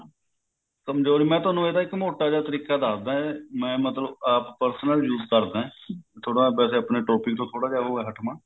ਕਮਜੋਰ ਮੈਂ ਤੁਹਾਨੂੰ ਇਹਦਾ ਇੱਕ ਮੋਟਾ ਜਿਹਾ ਤਰੀਕਾ ਦੱਸਦਾ ਮੈਂ ਮਤਲਬ ਆਪ personal use ਕਰਦਾ ਥੋੜਾ ਵੈਸੇ ਆਪਣੇ topic ਤੋਂ ਥੋੜਾ ਜਿਹਾ ਉਹ ਹੈ ਹਟਵਾਂ